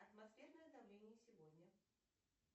атмосферное давление сегодня